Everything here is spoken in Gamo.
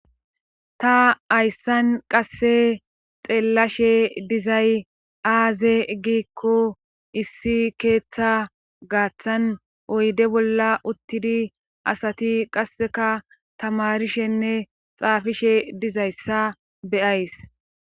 Ta ayssan qasse xeellashe dizay aaze giikko issi keeththa gaaththan oyde bolla uttidi asati qasseka tamarishenne xaafishe dizayssa beyays.